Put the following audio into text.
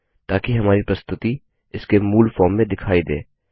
ताकि हमारी प्रस्तुति इसके मूल फॉर्म में दिखाई दे